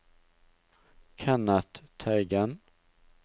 Kenneth Teigen